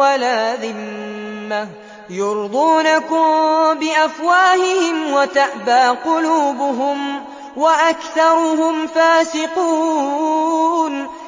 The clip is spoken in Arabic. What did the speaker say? وَلَا ذِمَّةً ۚ يُرْضُونَكُم بِأَفْوَاهِهِمْ وَتَأْبَىٰ قُلُوبُهُمْ وَأَكْثَرُهُمْ فَاسِقُونَ